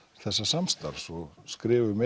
þessa samstarfs og skrifum